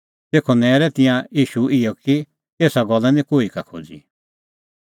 तेखअ नैरै तिंयां ईशू इहै कि एसा गल्ला निं कोही का खोज़ी